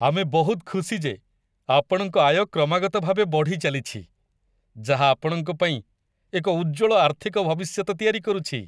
ଆମେ ବହୁତ ଖୁସି ଯେ ଆପଣଙ୍କ ଆୟ କ୍ରମାଗତ ଭାବେ ବଢ଼ିଚାଲିଛି ଯାହା ଆପଣଙ୍କ ପାଇଁ ଏକ ଉଜ୍ଜ୍ୱଳ ଆର୍ଥିକ ଭବିଷ୍ୟତ ତିଆରି କରୁଛି!